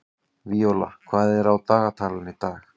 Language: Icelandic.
Víóla, hvað er í dagatalinu mínu í dag?